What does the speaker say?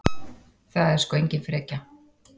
Það er sko engin frekja.